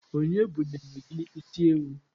Onye bunyelu gi isiewu?